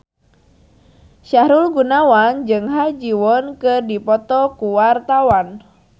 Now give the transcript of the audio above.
Sahrul Gunawan jeung Ha Ji Won keur dipoto ku wartawan